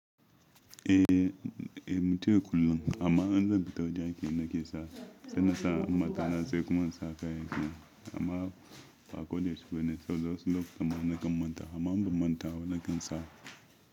Eh, eh, mutane kullum amma en zan fita wajan aiki na ke sa, sai na sa mata sai kuma na sa kayan aiki na, amma ba ko da yaushe bane sau da wasu lokutan ma na kan manta amma in ba manta ba na kan sa.